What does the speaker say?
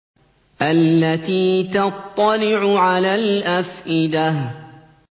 الَّتِي تَطَّلِعُ عَلَى الْأَفْئِدَةِ